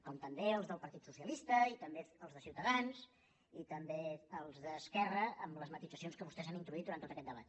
com també els del partit socialista i també els de ciutadans i també els d’esquerra amb les matisacions que vostès han introduït durant tot aquest debat